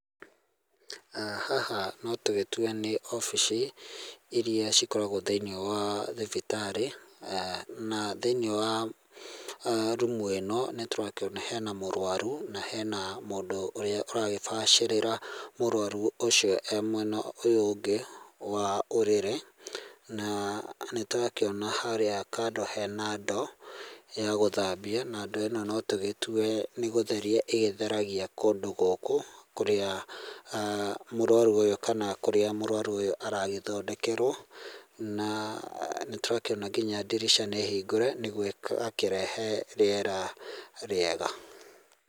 Haha no tũgĩtue nĩ obici iria cikoragwo thĩiniĩ wa thibitarĩ, na thĩiniĩ wa rumu ĩno, nĩtũrakĩona hena mũrwaru, na hena mũndũ ũrĩa ũragĩbacĩrĩra mũrwaru ũcio e mwena ũyũ ũngĩ wa ũrĩrĩ, na nĩtũrakĩona harĩa kando hena ndo, ya gũthambia, na ndoo ĩno no tũgĩtue nĩ gũtheria ĩgĩtheragia kũndũ gũkũ, kũrĩa mũrwaru ũyũ kana , kũrĩa mũrwaru ũyũ aragĩthondekerwo, na nĩtwakĩona nginya ndirica nĩhingũre nĩguo akĩrehe rĩera rĩega.